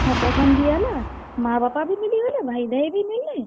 ହଁ, ପସନ୍ଦ ବି ହେଲା, ମାଁ ବାପା ବି ମିଲିଗଲେ। ଭାଇଭାଇ ବି ମିଲ୍ ଲେ।